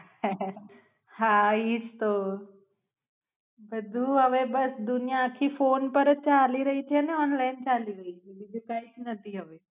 આહ હા ઈ જ તો બધું હવે બસ દુનિયા આખી ફોન પર જ ચાલી રહી છે ઓનલાઇન ચાલી છે બીજું કાય જ નથી હવે